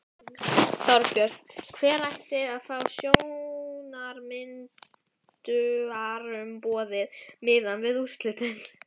Þorbjörn: Hver ætti að fá stjórnarmyndunarumboðið miðað við úrslitin?